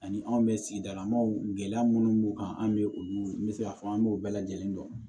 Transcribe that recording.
Ani anw bɛ sigidalamaaw gɛlɛya minnu b'u kan an bɛ olu me se k'a fɔ an b'o bɛɛ lajɛlen dɔn